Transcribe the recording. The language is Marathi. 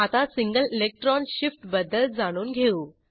आता सिंगल इलेक्ट्रॉन शिफ्टबद्दल जाणून घेऊ